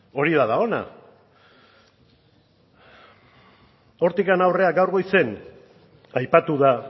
hori da dagoena hortik aurrera gaur goizean aipatu da